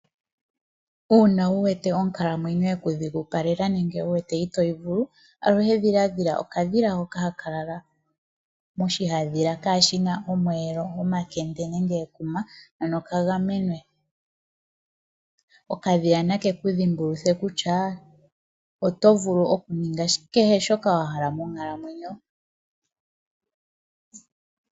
Uuna wu wete onkalamwenyo yeku dhigupalela nenge wu wete itoyi vulu, aluhe dhiladha okadhila hoka haka lala moshihadhila kashi na omweelo, omakende nenge ekuma, ano ka gamenwe. Okadhila na ke ku dhimbuluthe kutya oto vulu okuninga kehe shoka wa hala monkalamweyo.